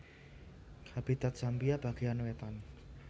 Habitat Zambia bagéyan wétan